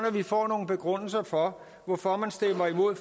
at vi får nogle begrundelser for hvorfor man stemmer imod